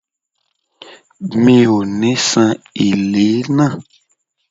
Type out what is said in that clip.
Mi ò ní san èlé náà.